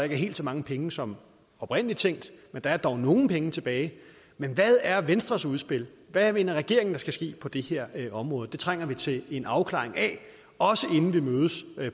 er helt så mange penge som oprindelig tænkt men der er dog nogle penge tilbage men hvad er venstres udspil hvad mener regeringen der skal ske på det her område det trænger vi til en afklaring af også inden vi mødes